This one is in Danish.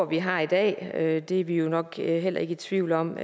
vi har i dag og det er vi jo nok heller ikke i tvivl om